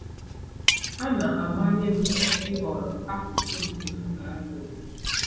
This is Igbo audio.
A na-amanye m ịhọrọ akụkụ nke m ga-alụ ọgụ.